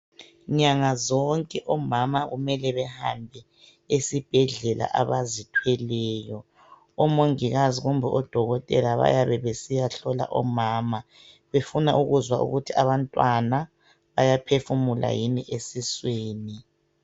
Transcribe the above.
Nyanga zonke omama kumele behame esibhedlela abazithweleyo ,omongikazi kumbe odokotela bayebe besiya hlola omama befuna ukuzwa ukuthi abantwana bayaphefumula yina .